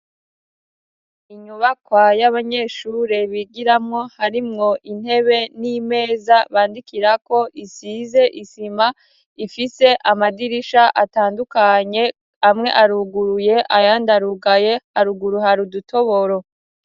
Inyubakwa y'abanyeshure bigiramwo, harimwo intebe n'imeza bandikirako, isize isima, ifise amadirisha atandukanye, amwe aruguruye ayandi arugaye haruguru hari udutoboro.